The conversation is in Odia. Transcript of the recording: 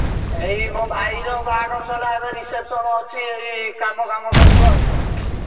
ଏଇ ମୋ ଭାଇର ବାହାଘର ସରିଲା ଏବେ reception ଅଛି ଏଇ କାମ ଫାମ କରୁଛୁ ଆଉ।